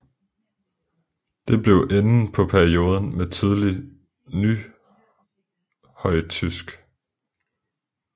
Det blev enden på perioden med tidlig nyhøjtysk